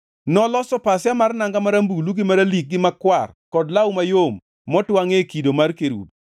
Noloso pasia mar nanga marambulu, gi maralik, gi makwar kod law mayom motwangʼe kido mar kerubi.